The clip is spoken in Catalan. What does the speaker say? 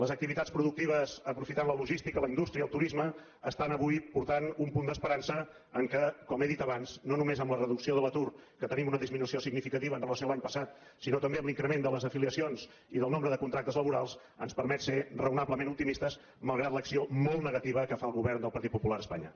les activitats productives aprofitant la logística la indústria el turisme estan avui portant un punt d’esperança que com he dit abans no només amb la reducció de l’atur que tenim una disminució significativa amb relació a l’any passat sinó també amb l’increment de les afiliacions i del nombre de contractes laborals ens permet ser raonablement optimistes malgrat l’acció molt negativa que fa el govern del partit popular a espanya